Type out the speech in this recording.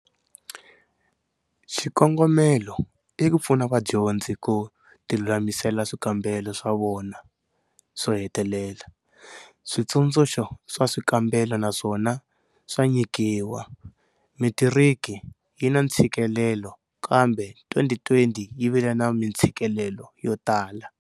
Xikongomelo i ku pfuna vadyondzi ku tilulamisela swikambelo swa vona swo hetelela. Switsundzuxo swa swikambelo naswona swa nyikiwa. Metiriki yi na ntshikelelo kambe 2020 yi vile na mintshikelelo yo tala.